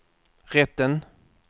rätten